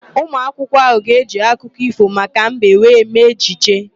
Ụmụakwụkwọ ahụ ga-eji akụkọ ífò maka mbe wee mee ejije.